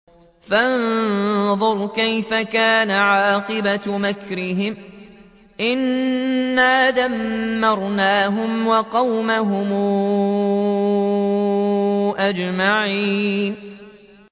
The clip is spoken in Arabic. فَانظُرْ كَيْفَ كَانَ عَاقِبَةُ مَكْرِهِمْ أَنَّا دَمَّرْنَاهُمْ وَقَوْمَهُمْ أَجْمَعِينَ